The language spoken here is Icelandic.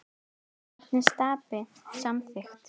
Nafnið Stapi samþykkt